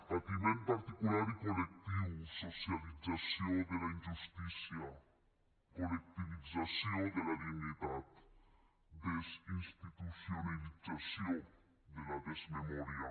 patiment particular i col·lectiu socialització de la injustícia col·lectivització de la dignitat desinstitucionalització de la desmemòria